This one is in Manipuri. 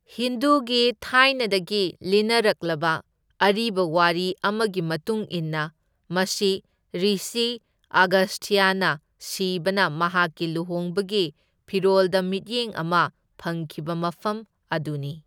ꯍꯤꯟꯗꯨꯒꯤ ꯊꯥꯏꯅꯗꯒꯤ ꯂꯤꯅꯔꯛꯂꯕ ꯑꯔꯤꯕ ꯋꯥꯔꯤ ꯑꯃꯒꯤ ꯃꯇꯨꯡ ꯏꯟꯅ, ꯃꯁꯤ ꯔꯤꯁꯤ ꯑꯒꯁꯊ꯭ꯌꯅ ꯁꯤꯕꯅ ꯃꯍꯥꯛꯀꯤ ꯂꯨꯍꯣꯡꯕꯒꯤ ꯐꯤꯔꯣꯜꯗ ꯃꯤꯠꯌꯦꯡ ꯑꯃ ꯐꯪꯈꯤꯕ ꯃꯐꯝ ꯑꯗꯨꯅꯤ꯫